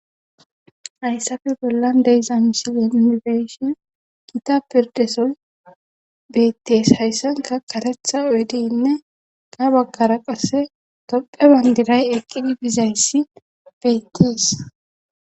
hayssafe bollan deyza misile nu beyshin gita pirdesoy bettees hayssanka karetha oyedeynne ha baggara qasse topphe bandiray eqqidi bizayssi beyttis